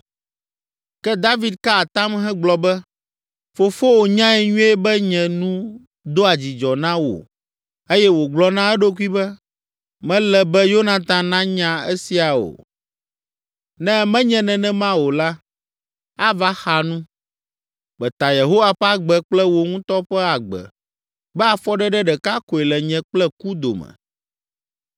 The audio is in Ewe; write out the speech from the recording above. Ke David ka atam hegblɔ be, “Fofowò nyae nyuie be nye nu doa dzidzɔ na wò eye wògblɔ na eɖokui be, ‘Mele be Yonatan nanya esia o. Ne menye nenema o la, ava xa nu.’ Meta Yehowa ƒe agbe kple wò ŋutɔ ƒe agbe be afɔɖeɖe ɖeka koe le nye kple ku dome.”